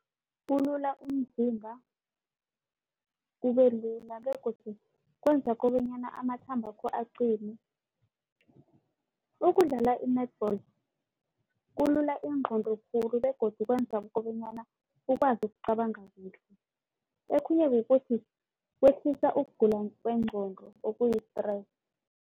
Kulula umzimba ubelula begodu kwenza kobanyana amathambakho aqine. Ukudlala i-netball kulula ingqondo khulu begodu kwenza kobanyana ukwazi ukucabanga kuhle. Okhunye kukuthi kwehlisa ukugula kwengqondo okuyi-stress.